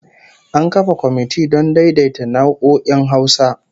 An kafa komiti don daidaita nau'o'in Hausa